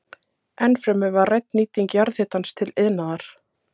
Ennfremur var rædd nýting jarðhitans til iðnaðar.